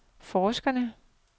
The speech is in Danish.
forskerne